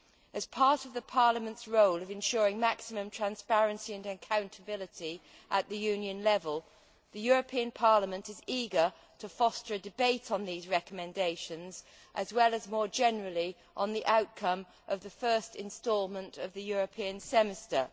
As part of Parliament's role of ensuring maximum transparency and accountability at the Union level, the European Parliament is eager to foster a debate on these recommendations, as well as more generally on the outcome of the first instalment of the European Semester.